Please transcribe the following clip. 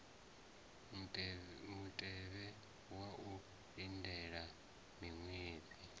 mutevhe wa u lindela miṅwedzi